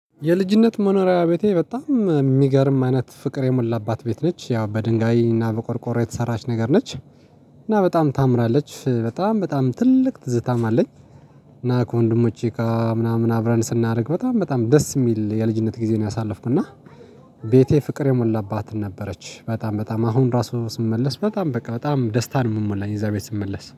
የልጅነት መኖሪያ በጣም የሚገርም አይነት ፍቅር የሞላባት ቤት ነች ያው በድንጋይ እና በቆርቆሮ የተሰራች ነገር ነች። እና በጣም ታምራለች በጣም በጣም ትልቅ ትዝታም አለኝ። እና ከወንድሞቼ ምናምን አብረን ስናደርግ በጣም በጣም ደስ የሚል የልጅነት ጊዜ ነው ያሳለፍኩና። ቤቴ ፍቅር የሞላባት ነበረች። በጣም በጣም አሁን ራሱ ስመለስ በጣም በቃ በጣም ደስታን የምሞላኝ እዛ ቤት ስመለስ